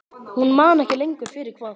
Hún man ekki lengur fyrir hvað.